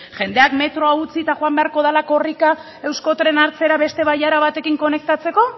jendeak metroa utzi eta joan beharko dela korrika euskotrena hartzera beste bailara batekin konektatzeko